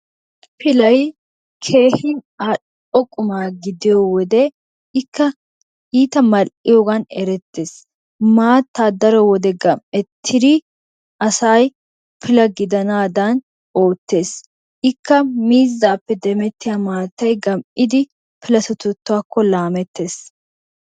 Piillay kehi alo'o qumma gidiyoowodee, ikka itta maliyogan erettes, mattaa daro wodee gamettidi asay pillaa gidanadan ottes, ikka mizzappe demettiyaa mattay gamiddi pillatettakko lamettes.